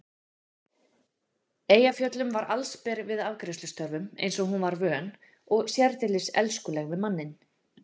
Eyjafjöllum var allsber við afgreiðslustörfin eins og hún var vön og sérdeilis elskuleg við manninn.